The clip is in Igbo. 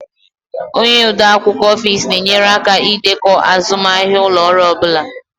Onye ode akwụkwọ Ofis na-enyere aka ịdekọ azụmahịa ụlọ ọrụ ọ bụla